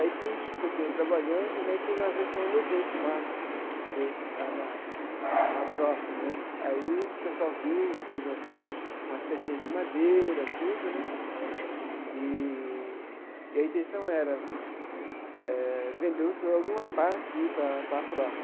Aí fui continuei trabalhando né e fiz uma versão e levei para o Marcos ver lá na na APROFE né. Aí o pessoal viu, fez umas umas pecinhas de madeira, tudo né, eee e a intenção era eh vender o jogo e uma parte e ir para para APROFE.